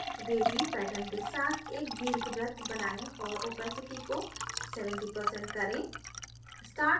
2 wavy pattern के साथ एक दीर्घवृत्त बनाएँ और opacity को 70% करें